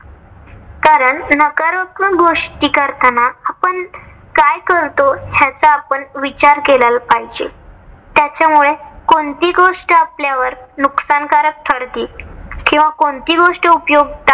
कारण नकारात्मक गोष्टी करताना आपण काय करतो. ह्याचा आपण विचार केलेला पाहिजे. त्याच्यामुळे कोणती गोष्ट आपल्यावर नुकसानकारक ठरती किंवा कोणती गोष्ट उपयोगी